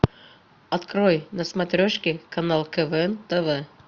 открой на смотрешке канал квн тв